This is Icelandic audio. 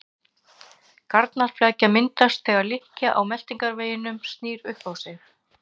Garnaflækja myndast þegar lykkja á meltingarveginum snýr upp á sig.